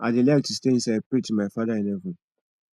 i dey like to stay inside pray to my father in heaven